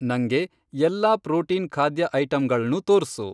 ನಂಗೆ ಎಲ್ಲಾ ಪ್ರೋಟೀನ್ ಖಾದ್ಯ ಐಟಂಗಳ್ನೂ ತೋರ್ಸು.